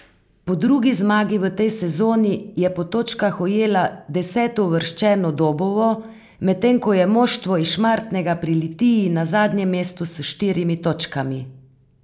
Po drugi zmagi v tej sezoni je po točkah ujela desetouvrščeno Dobovo, medtem ko je moštvo iz Šmartnega pri Litiji na zadnjem mestu s štirimi točkami.